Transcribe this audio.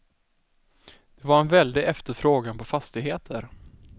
Det var en väldig efterfrågan på fastigheter.